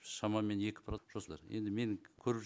шамамен екі енді мен көріп